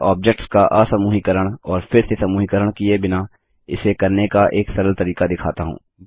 मैं ऑब्जेक्ट्स का असमूहीकरण और फिर से समूहीकरण किये बिना इसे करने का एक सरल तरीका दिखाता हूँ